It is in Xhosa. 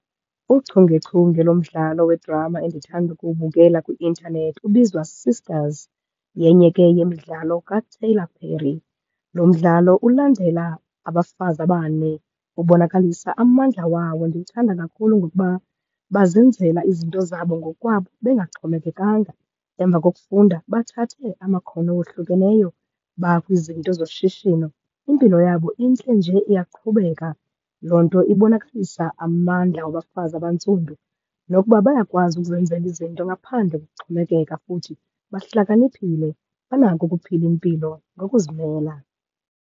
Uchungechunge lomdlalo wedrama endithanda ukuwubukela kwi-intanethi ubizwaSisters, yenye ke yemidlalo kaTyler Perry. Lo mdlalo ulandela abafazi abane, ubonakalisa amandla wawo. Ndiwuthanda kakhulu ngokuba bazenzela izinto zabo ngokwabo bengaxhomekekanga. Emva kokufunda bathathe amakhono awohlukeneyo bakwizinto zoshishino. Impilo yabo intle nje iyaqhubeka, loo nto ibonakalisa amandla abafazi abantsundu nokuba bayakwazi ukuzenzela izinto ngaphandle kokuxhomekeka. Futhi bahlakaniphile, banako ukuphila impilo ngokuzimela.